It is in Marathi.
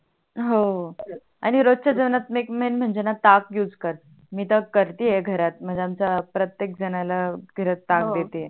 हव आणि रोजच्या जेवणात मैन म्हणजे णा ताक यूज कर मी तर करतीय घरात म्हणजे आमच्या प्रतेक झणाला घरात ताक देते आहे